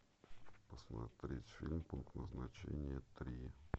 посмотреть фильм пункт назначения три